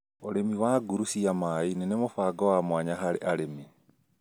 ũrĩmi wa nguru cia mai-inĩ nĩ mũbango wa mwanya harĩ arĩmi